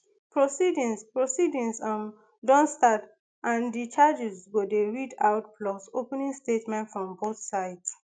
proceedings proceedings um don start and di charges go dey read out plus opening statements from both sides